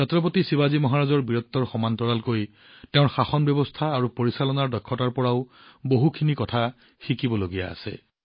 ছত্ৰপতি শিৱাজী মহাৰাজৰ বীৰত্বৰ লগতে তেওঁৰ শাসন ব্যৱস্থা আৰু পৰিচালনাৰ দক্ষতাৰ পৰা বহু কথা শিকিব পাৰি